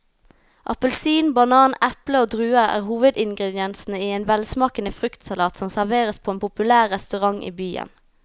Appelsin, banan, eple og druer er hovedingredienser i en velsmakende fruktsalat som serveres på en populær restaurant i byen.